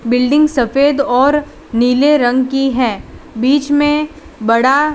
building सफेद और नीले रंग की है बीच में बड़ा --